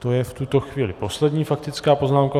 To je v tuto chvíli poslední faktická poznámka.